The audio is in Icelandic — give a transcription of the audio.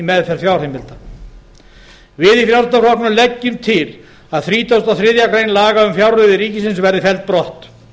meðferð fjárheimilda við í frjálslynda flokknum leggjum til að þrítugasta og þriðju grein laga um fjárreiður ríkisins verði felld brott